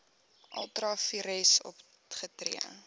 ultra vires opgetree